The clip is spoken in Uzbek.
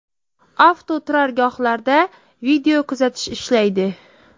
Avtoturargohlarda video kuzatish ishlaydi.